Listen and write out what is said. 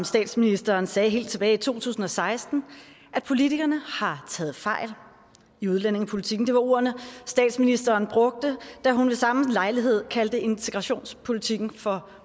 statsministeren sagde helt tilbage i to tusind og seksten at politikerne har taget fejl i udlændingepolitikken det var ordene statsministeren brugte da hun ved samme lejlighed kaldte integrationspolitikken for